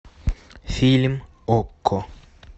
фильм окко